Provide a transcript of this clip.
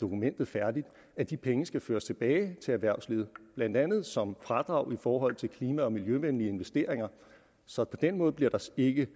dokumentet færdigt at de penge skal føres tilbage til erhvervslivet blandt andet som fradrag i forhold til klima og miljøvenlige investeringer så på den måde bliver der ikke